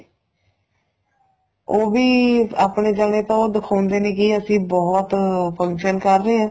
ਉਹ ਵੀ ਆਪਣੇ ਜਾਣੇ ਤਾਂ ਉਹ ਦਿਖਾਉਂਦੇ ਨੇ ਕੀ ਅਸੀਂ ਬਹੁਤ function ਕਰ ਰਹੇ ਆ